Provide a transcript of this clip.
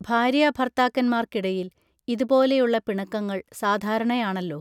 ഭാര്യാഭർത്താക്കന്മാർക്കിടയിൽ ഇതുപോലെയുള്ള പിണക്കങ്ങൾ സാധാരണയാണല്ലൊ